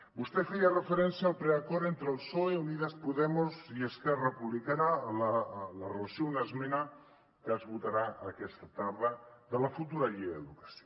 vostè feia referència al preacord entre el psoe unidas podemos i esquerra republicana en relació amb una esmena que es votarà aquesta tarda de la futura llei d’educació